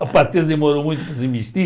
A partir demorou muito para.